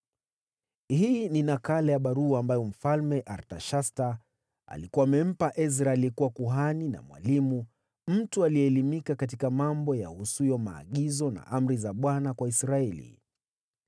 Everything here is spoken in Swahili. Hii ni nakala ya barua ambayo Mfalme Artashasta alikuwa amempa Ezra aliyekuwa kuhani na mwalimu, mtu aliyeelimika katika mambo yahusuyo maagizo na amri za Bwana kwa Israeli.